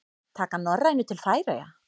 Taka Norrænu til Færeyja?